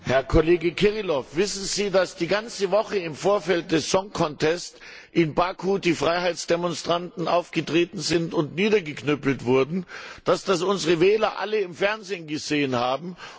Herr Kollege Kirilov, wissen Sie, dass die ganze Woche im Vorfeld des in Baku die Freiheitsdemonstranten aufgetreten sind und niedergeknüppelt wurden und dass unsere Wähler das alle im Fernsehen gesehen haben?